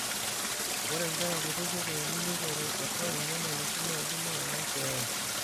ore nkera kutitik eini neiteru atu inyamalitin naidim aayau keeya